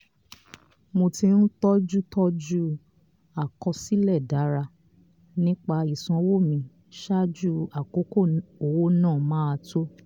mo ti ń tọ́jú tọ́jú àkọsílẹ̀ dára nípa ìsanwó mi ṣáájú àkókò owó náà máa tó.